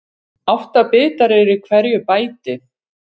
Átta bitar eru í hverju bæti.